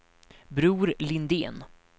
Bror Lindén